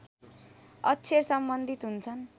अक्षर सम्बन्धित हुन्छन्